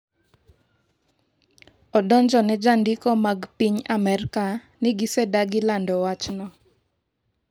Odonjone jondiko mag piny Amerka ni gisedagi lando wachno.